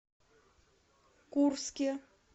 курске